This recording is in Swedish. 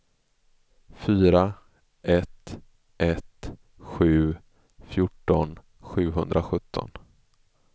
fyra ett ett sju fjorton sjuhundrasjutton